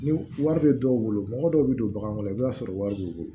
Ni wari bɛ dɔw bolo mɔgɔ dɔw bɛ don baganw kɔnɔ i bɛ t'a sɔrɔ wari b'u bolo